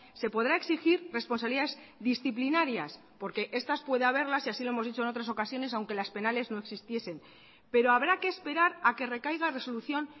se podrá exigir responsabilidades disciplinarias porque estas puede haberlas y así lo hemos dicho en otras ocasiones aunque las penales no existiesen pero habrá que esperar a que recaiga resolución